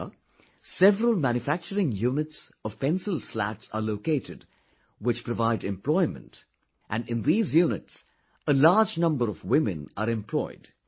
Here, several manufacturing units of Pencil Slats are located, which provide employment, and, in these units, a large number of women are employed